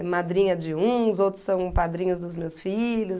É madrinha de uns, outros são padrinhos dos meus filhos.